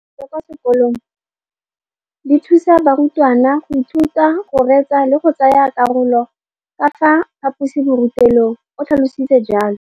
Dijo tsa kwa sekolong dithusa barutwana go ithuta, go reetsa le go tsaya karolo ka fa phaposiborutelong, o tlhalositse jalo.